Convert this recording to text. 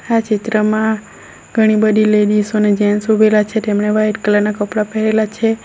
આ ચિત્રમાં ઘણી બધી લેડીસો અને જેન્ટ્સ ઉભેલા છે તેમણે વાઈટ કલર ના કપડા પહેરેલા છે.